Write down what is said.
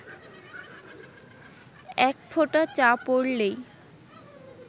এক ফোঁটা চা পড়লেই